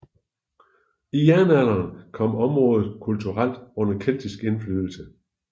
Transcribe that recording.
I jernalderen kom området kulturelt under keltisk indflydelse